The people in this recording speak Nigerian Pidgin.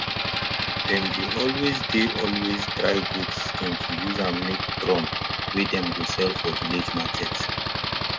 dem dey always dey always dry goat skin to use am make drum wey dem go sell for village market